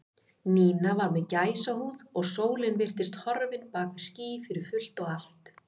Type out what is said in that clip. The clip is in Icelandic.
Nína var með gæsahúð og sólin virtist horfin bak við ský fyrir fullt og allt.